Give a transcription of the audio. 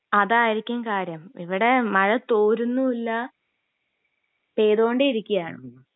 അതായിരിക്കും കാര്യം ഇവിടെ മഴ തോരുന്നൂല്യ പെയ്തൊണ്ടേ ഇരിക്കേണ്